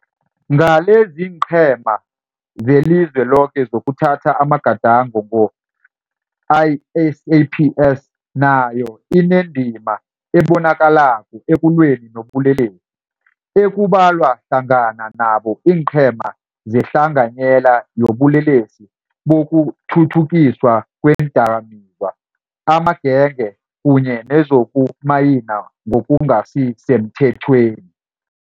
Ngaleziinqhema zelizwe loke zokuthatha amagada ngo, i-SAPS nayo inendima ebonakalako ekulweni nobulelesi, ekubalwa hlangana nabo iinqhema zehlanganyela yobulelesi bokukhukhuthiswa kweendakamizwa, amagenge kunye nezokumayina ngokungasi semthethweni.